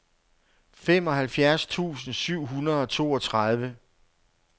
femoghalvfjerds tusind syv hundrede og toogtredive